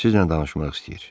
Sizinlə danışmaq istəyir.